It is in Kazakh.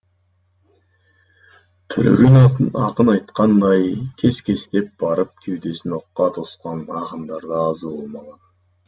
төлеген ақын айтқанындай кес кестеп барып кеудесін оққа тосқан ақындар да аз болмаған